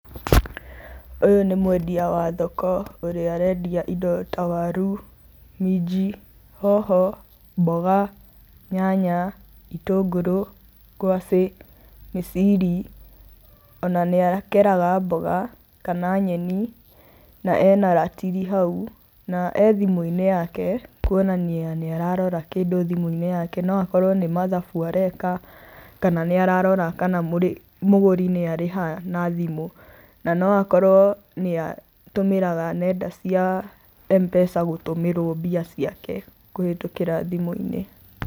Ũyũ nĩ mwendia wa thoko ũrĩa arendia indo ta waru, minji, hoho, mboga, nyanya, itũngũrũ, ngwacĩ, mĩciri, ona nĩ akeraga mboga kana nyeni na ena ratiri hau na e thimũ-inĩ yake kuonania nĩ ararora kĩndũ thimũ-inĩ yake no akorwo nĩ mathabu areka, kana nĩ ararora kana mũgũri nĩ arĩha na thimũ na no akorwo nĩ atũmĩraga nenda cia Mpesa gũtũmĩrwo mbia ciake kũhĩtũkĩra thimũ-inĩ.